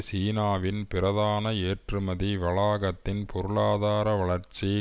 சீனாவின் பிரதான ஏற்றுமதி வளாகத்தின் பொருளாதார வளர்ச்சி